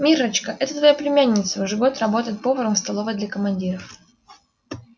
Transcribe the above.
миррочка это твоя племянница уже год работает поваром в столовой для командиров